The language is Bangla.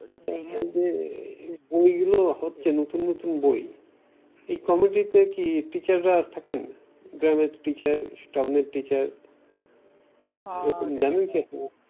এইযে বই গুলো হচ্ছে নতুন নতুন বই এই কমিটিতে কি teacher রা থাকেন গ্রামের teacher town এর town সেরকম জানেন কি আপনি